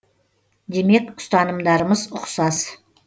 демек ұстанымдарымыз ұқсас